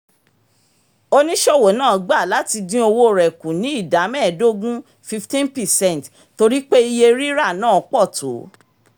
oníṣòwò náà gba láti dín owó rẹ̀ kù ní ida medogun 15 percent torí pé iye rírà náà pọ̀ tó